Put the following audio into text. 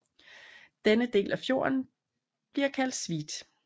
Denne del af fjorden bliver kaldt Sveet